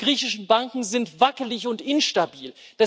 Die griechischen Banken sind wackelig und instabil.